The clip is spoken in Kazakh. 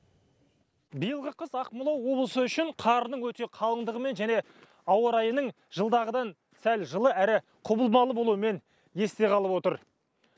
биылғы қыс ақмола облысы үшін қардың өте қалыңдығымен және ауа райының жылдағыдан сәл жылы әрі құбылмалы болуымен есте қалып отыр